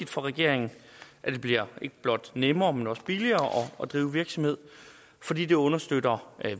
for regeringen at det bliver ikke blot nemmere men også billigere at drive virksomhed fordi det understøtter